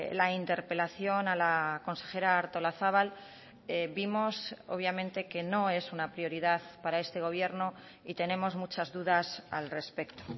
la interpelación a la consejera artolazabal vimos obviamente que no es una prioridad para este gobierno y tenemos muchas dudas al respecto